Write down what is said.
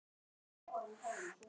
Stundum pabbi segir Pálmi Snær.